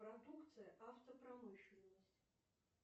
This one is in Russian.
продукция автопромышленность